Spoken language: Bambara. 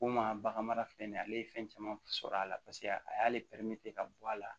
Ko maa bagan mara filɛ nin ye ale ye fɛn caman sɔrɔ a la paseke a y'ale ka bɔ a la